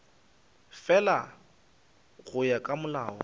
fela go ya ka molao